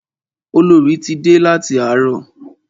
Olorì ti dé láti àárọ̀.